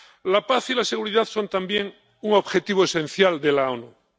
La paz y la seguridad son también un objetivo esencial de las Naciones Unidas.